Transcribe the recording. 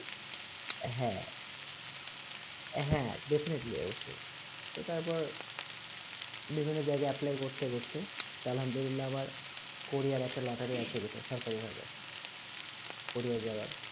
হ্যাঁ হ্যাঁ definitely অবশ্যই তো তারপর বিভিন্ন জায়গা apply করতে করতে আলহামদুলিল্লাহ আবার কোরিয়া একটা lottery আসে সরকারি ভাবে কোরিয়া যাবার